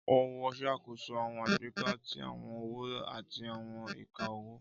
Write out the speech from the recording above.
Ọwọ ṣakoso awọn agbeka ti awọn ọwọ ati awọn ika ọwọ.